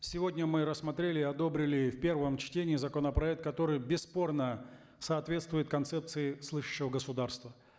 сегодня мы рассмотрели и одобрили в первом чтении законопроект который бесспорно соответствует концепции слышащего государства